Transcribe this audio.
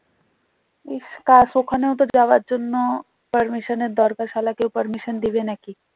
ইস কাশ ওখানেওতো যাওয়ার জন্য permission এর দরকার সালা কেউ permission দেবে নাকি